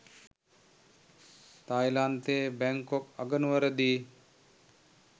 තායිලන්තයේ Bangkok අගනුවරදී